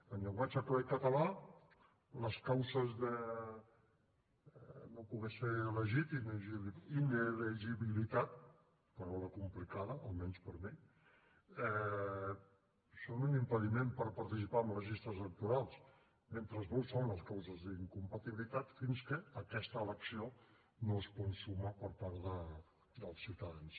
en llenguatge clar i català les causes de no poder ser elegit d’inelegibilitat paraula complicada almenys per mi són un impediment per participar en les llistes electorals mentre que no ho són les causes d’incompatibilitat fins que aquesta elecció no es consuma per part dels ciutadans